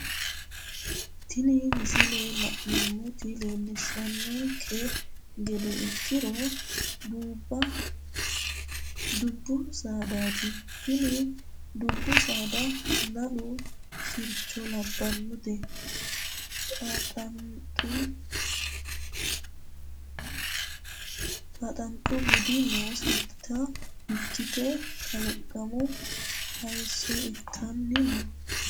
Tini misile la'neemmoti leellishshanke gede ikkiro, dubba saadaati. Tini dubbu saada lalu sircho labbannote. Xaaxanxhu buudi nooseta ikkite kalaqamu hayisso ittanni no.